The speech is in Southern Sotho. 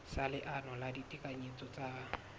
sa leano la ditekanyetso tsa